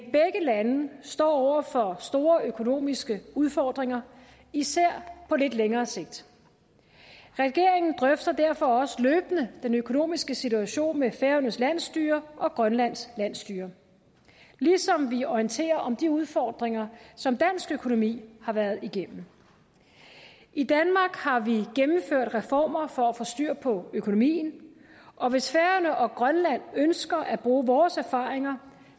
lande står over for store økonomiske udfordringer især på lidt længere sigt regeringen drøfter derfor også løbende den økonomiske situation med færøernes landsstyre og grønlands landsstyre ligesom vi orienterer om de udfordringer som dansk økonomi har været igennem i danmark har vi gennemført reformer for at få styr på økonomien og hvis færøerne og grønland ønsker at bruge vores erfaringer